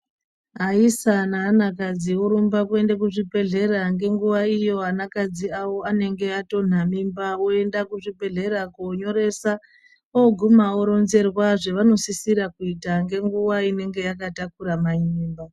Aisa naana kadzi orumba kuenda kuzvibhedhlera ngenguwa iyo ana kadzi awo anenge atonha mimba oenda kuzvibhedhlera koonyoresa oguma oronzerwa zveanosisira kuita ngenguwa inenge yakatakura mai mimba.